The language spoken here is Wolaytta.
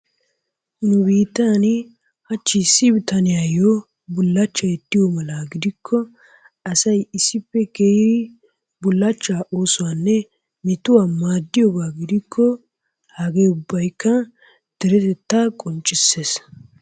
Nu biittan hachchi issi bitaniyayo bullachchay diyo mala gidikko asay issippe kiyidi bullachchaa oosuwanne metuwa maddiyogaa gidikko hagee ubbayikka deretettaa qonccisses.